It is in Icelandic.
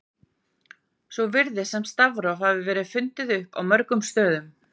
Svo virðist sem stafróf hafi verið fundin upp á mörgum stöðum.